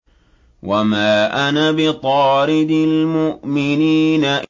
وَمَا أَنَا بِطَارِدِ الْمُؤْمِنِينَ